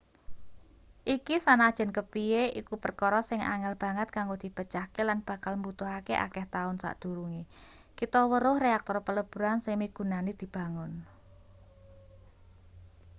iki sanajan kepiye iku perkara sing angel banget kanggo dipecahke lan bakal mbutuhake akeh taun sadurunge kita weruh reaktor peleburan sing migunani dibangun